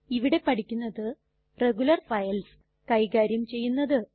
ഇവിടെ പഠിക്കുന്നത് regular files കൈകാര്യം ചെയ്യുന്നത്